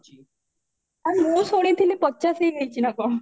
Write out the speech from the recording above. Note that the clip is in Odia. ଆଉ ମୁଁ ଶୁଣିଥିଲି ପଚାଶେ ହେଇଯାଇଚି ନା କଣ